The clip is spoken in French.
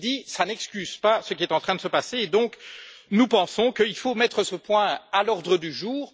Ceci dit, cela n'excuse pas ce qui est en train de se passer et nous pensons qu'il faut mettre ce point à l'ordre du jour.